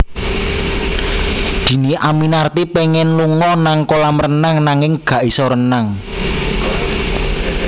Dhini Aminarti pengen lunga nang kolam renang nanging gak iso renang